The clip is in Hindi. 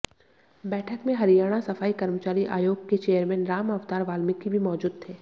बैठक में हरियाणा सफाई कर्मचारी आयोग के चेयरमैन राम अवतार वाल्मीकि भी मौजूद थे